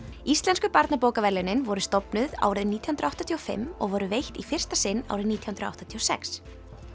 íslensku barnabókaverðlaunin voru stofnuð árið nítján hundruð áttatíu og fimm og voru veitt í fyrsta sinn árið nítján hundruð áttatíu og sex